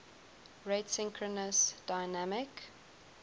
rate synchronous dynamic